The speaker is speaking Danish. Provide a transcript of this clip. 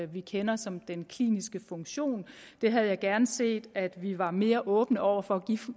vi kender som den kliniske funktion der havde jeg gerne set at vi var mere åbne over for at give